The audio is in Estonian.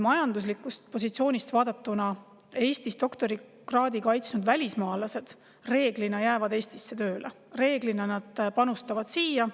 Majanduslikust positsioonist vaadatuna: Eestis doktorikraadi kaitsnud välismaalased jäävad reeglina Eestisse tööle, reeglina nad panustavad siia.